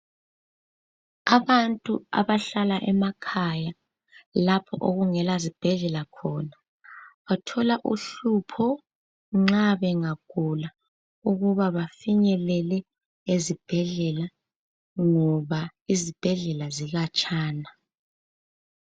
Abantu abahlala emakhaya lapho okungela zibhedlela khona, bathola uhlupho nxa bengagula ukuba bafinyelele ezibhedlela, ngoba izibhedlela zikhatshana.